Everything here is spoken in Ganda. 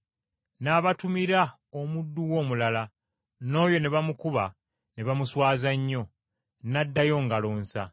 N’abatumira omuddu we omulala, n’oyo ne bamukuba ne bamuswaza nnyo, n’addayo ngalo nsa.